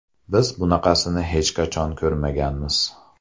Biz bunaqasini hech qachon ko‘rmaganmiz.